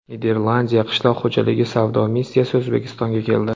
Niderlandiya qishloq xo‘jaligi savdo missiyasi O‘zbekistonga keldi.